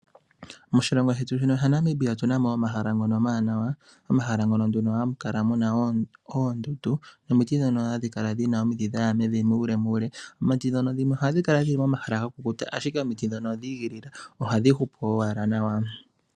Moshilongo shetu shino shaNamibia otuna mo omahala ngono omawanawa omahala ngono nduno hamu kala muna oondundu nomiti dhono hadhi kala dhina omidhi dhaya muulemuule omiti dhino ohadhi kala dhili momahala ga kukuta ashike omiti dhika odhi igilila anno ohadhi hupu owala nawa.